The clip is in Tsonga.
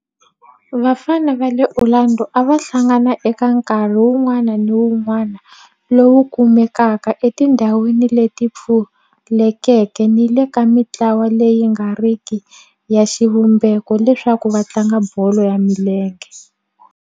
Vafana va le Orlando a va hlangana eka nkarhi wun'wana ni wun'wana lowu kumekaka etindhawini leti pfulekeke ni le ka mintlawa leyi nga riki ya xivumbeko leswaku va tlanga bolo ya milenge.